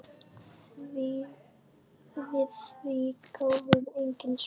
Við því gáfust engin svör.